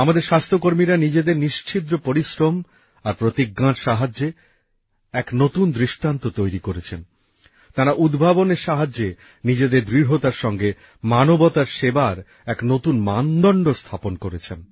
আমাদের স্বাস্থ্যকর্মীরা নিজেদের নিশ্ছিদ্র পরিশ্রম আর সংকল্পর মাধ্যমে এক নতুন দৃষ্টান্ত তৈরি করেছেন তাঁরা উদ্ভাবনের সাহায্যে নিজেদের দৃঢ়তার সঙ্গে মানবতার সেবার এক নতুন মানদণ্ড স্থাপন করেছেন